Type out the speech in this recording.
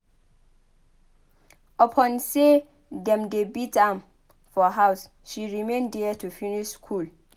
Upon sey dem dey beat am for house she remain there to finish skool.